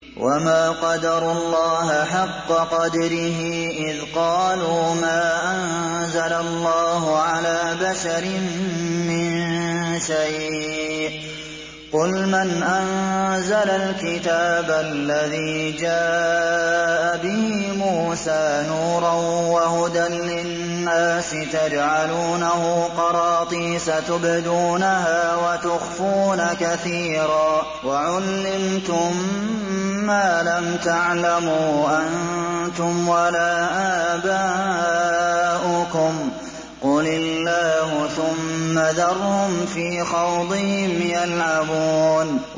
وَمَا قَدَرُوا اللَّهَ حَقَّ قَدْرِهِ إِذْ قَالُوا مَا أَنزَلَ اللَّهُ عَلَىٰ بَشَرٍ مِّن شَيْءٍ ۗ قُلْ مَنْ أَنزَلَ الْكِتَابَ الَّذِي جَاءَ بِهِ مُوسَىٰ نُورًا وَهُدًى لِّلنَّاسِ ۖ تَجْعَلُونَهُ قَرَاطِيسَ تُبْدُونَهَا وَتُخْفُونَ كَثِيرًا ۖ وَعُلِّمْتُم مَّا لَمْ تَعْلَمُوا أَنتُمْ وَلَا آبَاؤُكُمْ ۖ قُلِ اللَّهُ ۖ ثُمَّ ذَرْهُمْ فِي خَوْضِهِمْ يَلْعَبُونَ